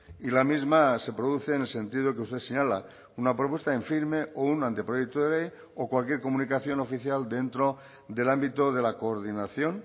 y la misma se produce en el sentido que usted señala una propuesta en firme o un anteproyecto de ley o cualquier comunicación oficial dentro del ámbito de la coordinación